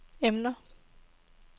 emner